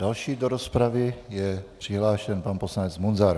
Další do rozpravy je přihlášen pan poslanec Munzar.